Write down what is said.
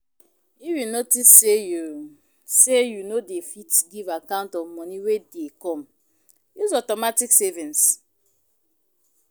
If you notice sey you sey you no dey fit give account of money wey dey come, use automatic savings